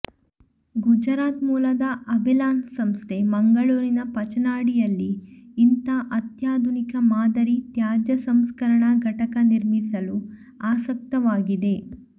ಗುಜರಾತ್ ಮೂಲದ ಅಬೆಲಾನ್ ಸಂಸ್ಥೆ ಮಂಗಳೂರಿನ ಪಚ್ಚನಾಡಿಯಲ್ಲಿ ಇಂಥ ಅತ್ಯಾಧುನಿಕ ಮಾದರಿ ತ್ಯಾಜ್ಯ ಸಂಸ್ಕರಣಾ ಘಟಕ ನಿರ್ಮಿಸಲು ಆಸಕ್ತವಾಗಿದೆ